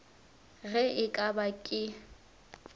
ge e ka ba ke